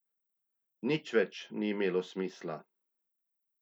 Nič več ni imelo smisla.